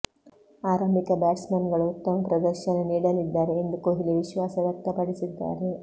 ಆರಂಭಿಕ ಬ್ಯಾಟ್ಸ್ಮನ್ಗಳು ಉತ್ತಮ ಪ್ರದರ್ಶನ ನೀಡಲಿದ್ದಾರೆ ಎಂದು ಕೊಹ್ಲಿ ವಿಶ್ವಾಸ ವ್ಯಕ್ತಪಡಿಸಿದ್ದಾರೆ